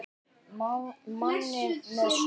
Manni með sögu.